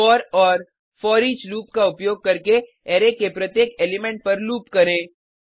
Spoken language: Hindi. फोर एएमपी फोरिच लूप का उपयोग करके अरै के प्रत्येक एलिमेंट पर लूप करें